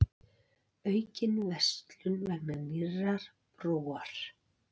Aukin verslun vegna nýrrar brúar